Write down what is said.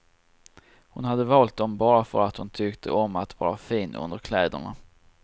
Hon hade valt dem bara för att hon tyckte om att vara fin under kläderna.